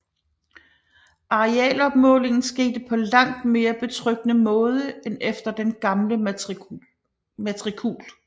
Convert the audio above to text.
Arealopmålingen skete på langt mere betryggende måde end efter den gamle matrikul